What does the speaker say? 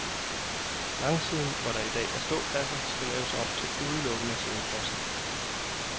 Langsiden, hvor der i dag er ståpladser, skal laves om til udelukkende siddepladser.